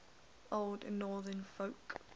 old northern folk